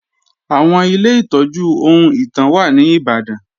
Àwọn Ilé ìtọ́jú ohun ìtàn wà ní Ìbàdàn